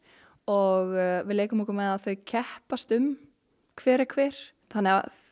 og við leikum okkur með að þau keppast um hver er hver þannig að